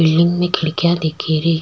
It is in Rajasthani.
बिल्डिंग में खिड़कियां दीखेरी।